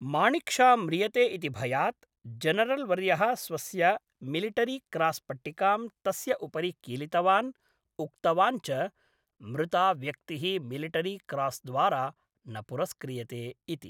माणिक् शा म्रियते इति भयात्, जेनरल्वर्यः स्वस्य मिलिटरिक्रास्पट्टिकां तस्य उपरि कीलितवान् उक्तवान् च मृता व्यक्तिः मिलिटरिक्रास् द्वारा न पुरस्क्रियते इति।